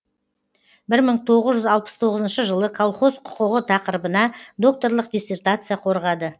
бір мың тоғыз жүз алпыс тоғызыншы жылы колхоз құқығы тақырыбына докторлық диссертация қорғады